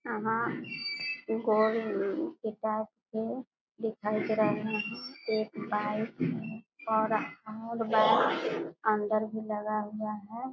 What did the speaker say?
यहां गोल दिखाई दे रहा है यहाँ एक बाइक है और और बाइक अंदर भी लगा हुआ है।